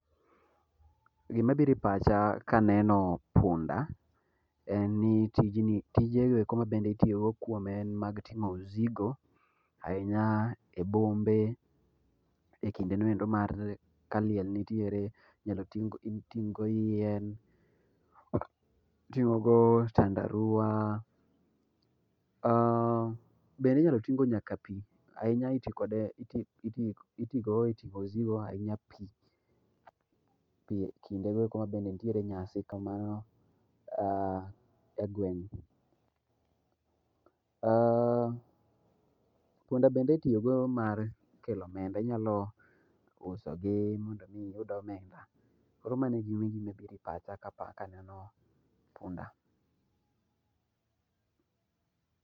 Gima biro ipacha kaneno punda, en ni tijni tije mitiyo kode en mag ting'o msigo ahinya e bombe ekindeno endo mar liel nitiere inyalo ting'go yien, iting'go tandaruwa bende inyalo ting' go nyaka pi. Ahinya itiyo kode eting'o msigo ahinya pi ,pi ekindego eko mabende ntiere nyasi egweng'. Punda bende itiyogo mar kelo omenda. Inyalo usogi mondo mondo mi iyud omenda. Koro mano e gima biro e pacha kaneno punda.